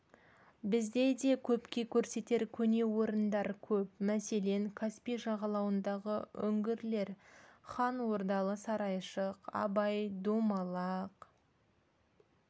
бізде де көпке көрсетер көне орындар көп мәселен каспий жағалауындағы үңгірлер хан ордалы сарайшық абай домалақ